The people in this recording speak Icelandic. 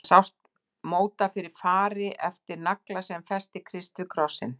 Þar sást móta fyrir fari eftir nagla sem festi Krist við krossinn.